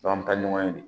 an bɛ taa ɲɔgɔn ye de